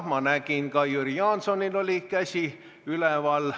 Ma nägin, et ka Jüri Jaansonil oli käsi üleval.